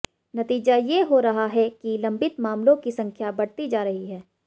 नतीजा ये हो रहा है कि लंबित मामलों की संख्या बढ़ती जा रही है